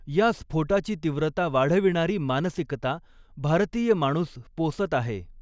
या स्फोटाची तीव्रता वाढविणारी मानसिकता भारतीय माणूस पोसत आहे.